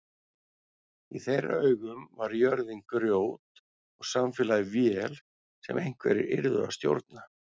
Í þeirra augum var jörðin grjót og samfélagið vél sem einhverjir yrðu að stjórna.